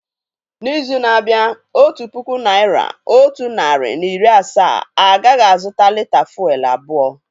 N'izu na-abịa, otu puku naira, otu narị na iri asaa agaghị azụta lị́tà fụ́élú abụọ